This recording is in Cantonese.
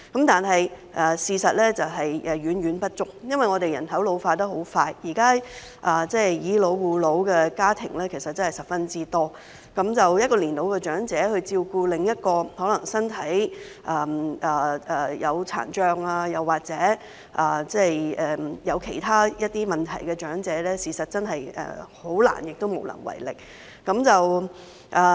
但是，事實是遠遠不足的，因為我們的人口老化得很快，現時"以老護老"的家庭十分多，一個年老長者照顧另一個可能身體有殘障或其他問題的長者，事實真的很難亦無能為力。